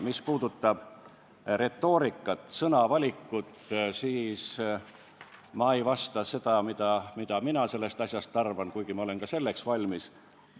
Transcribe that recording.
Mis puudutab retoorikat ja sõnavalikut, siis ma ei ütle, mida mina sellest asjast arvan, kuigi ma olen ka selleks valmis.